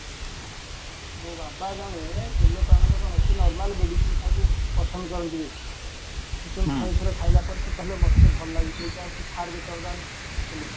ମୋ ବାବା ଜଣେ ମାନେ କ'ଣ ସେ normal medicine ଖାଇବାକୁ ପସନ୍ଦ କରନ୍ତି ବେଶୀ ସେ ଠାରେ ଠାରେ ଥର ଖାଇଲା ପରେ କହିଲେ ମତେ ଭଲ ଲାଗୁଚି ଏଇଟା ହଉଚି fire beater ଦାମ ଆଲୋପାତି